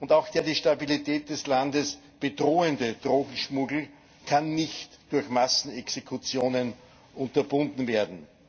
Auch der die Stabilität des Landes bedrohende Drogenschmuggel kann nicht durch Massenexekutionen unterbunden werden.